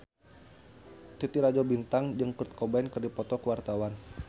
Titi Rajo Bintang jeung Kurt Cobain keur dipoto ku wartawan